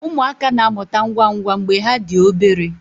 Ụmụaka na-amụta ngwa ngwa mgbe ha dị obere